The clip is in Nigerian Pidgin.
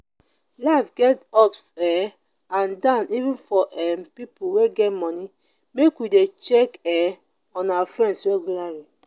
life get ups um and downs even for um pipo wey get moni make we de check um on our friends regularly